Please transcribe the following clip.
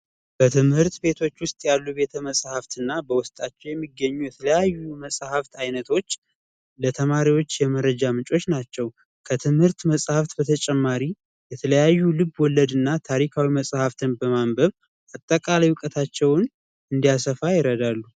በትምህርት ቤቶች ውስጥ መጽሐፍትና በውስጣቸው የሚገኙት አይነቶች ለተማሪዎች የምረጃ ምንጮች ናቸው ከትምህርት መጽሐፍ በተጨማሪ የተለያዩ ልብ ወለድና ታሪካዊ መጸሐፍትን በማንበብ አጠቃላይ እውቀታቸውን እንዲያሰፋ ይረዳሉ።